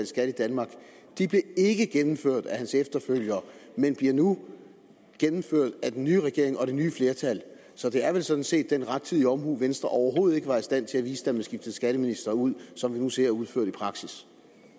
skat i danmark de blev ikke gennemført af hans efterfølger men bliver nu gennemført af den nye regering og det nye flertal så det er vel sådan set den rettidige omhu venstre overhovedet ikke var i stand til at vise da man skiftede skatteministeren ud som vi nu ser udført i praksis